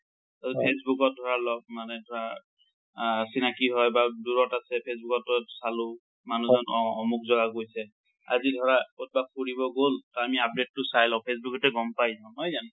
ট ফেচ্বুক ত ধৰা লগ মানে ধৰা, আ চিনাকি হয় বা দুৰত আছে, ফেচবুকত চালো। মানুহজন, অ অমুক জাগা গৈছে। আজি ধৰা কতবা ফুৰিব গল, ত আমি update টো চাই লওঁ, ফেচবুকতে গম পাই যাওঁ। নহয় জানো?